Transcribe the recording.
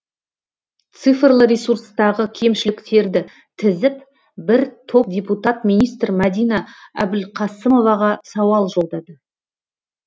цифрлы ресурстағы кемшіліктерді тізіп бір топ депутат министр мәдина әбілқасымоваға сауал жолдады